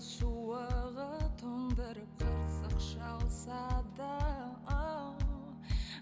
суығы тоңдырып қырсық шалса да